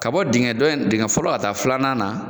Ka bɔ dingɛ dɔ in, dingɛ fɔlɔ ka taa filanan na,